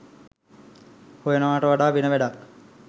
හොයනවාට වඩා වෙන වැඩක්